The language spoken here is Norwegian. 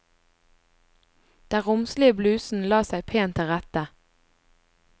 Den romslige blusen la seg pent til rette.